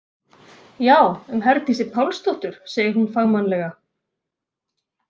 Já, um Herdísi Pálsdóttur, segir hún fagmannlega.